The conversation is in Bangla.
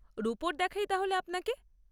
রুপোর দেখাই তাহলে আপনাকে।